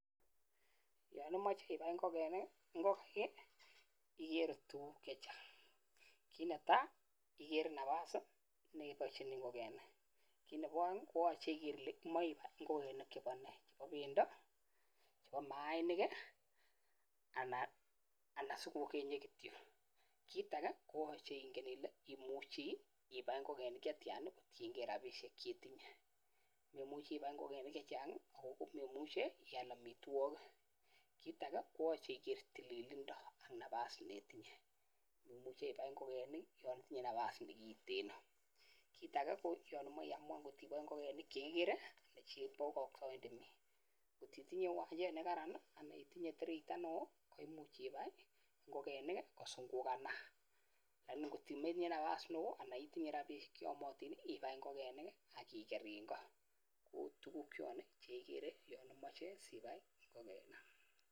Yanimochen ibai ngokenik ikerei tukuk chechang kit netai ikerei nafasi neibochini ngokenik kit nebo aeng igere Ile imoche ibai ngokenik chebonee chebo pendo chebo mainik anan sikokenyi kityo kit age konyolu inai ile tos imuchi ibai ngokenik chetyan kotienkei rabishek chetinye imuchi ibai ngokenik chechang akometinye robinik cheyamei ial amitwokik kit age koyachei igere tililindo ak nafas neitinye neo anan ko kitten kit nitok koyachei iamwan ngokenik chekiboei ngotitinye uwanjet nekararan anan ko tireito neo komuche ibai ngokenik kusungukakanat komuche ibai ngokenik akimete konendat ko tukuk cho Che kikeri yachang imoche ibai ngokenik